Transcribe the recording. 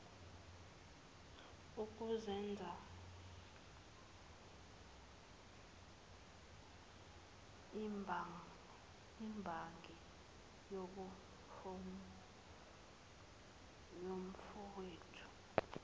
ukuzenza imbangi yomfowethu